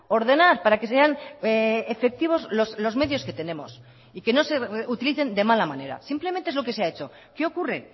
ordenar para que sean efectivos los medios que tenemos y que no se utilicen de mala manera simplemente es lo que se ha hecho qué ocurre